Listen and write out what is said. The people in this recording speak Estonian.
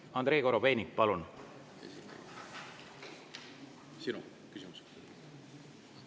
Andrei Korobeinik, palun!